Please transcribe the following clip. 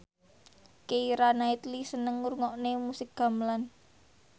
Keira Knightley seneng ngrungokne musik gamelan